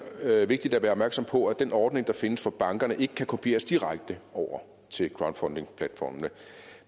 vigtigt at være opmærksom på at den ordning der findes for bankerne ikke kan kopieres direkte over til crowdfundingplatformene